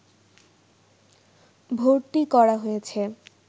ভর্তি করা হয়েছে